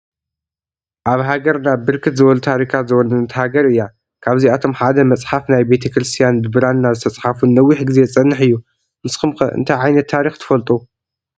አብ ሃገርና ብርክት ዝበሉ ታሪካት ዝወነነት ሃገረ እያ። ካብዚአቶም ሓደ መፅሓፈ ናይ ቤተክርስትያን ብብራና ዝተፃሕፍ ንነዊሕ ግዜ ዝፀንሕ እዩ። ንስኩም ከ እነታይ ዓይነት ታሪከ ትፈልጡ?